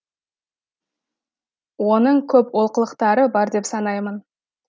оның көп олқылықтары бар деп санаймын